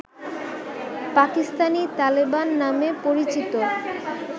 পাকিস্তানি তালেবান নামে পরিচিত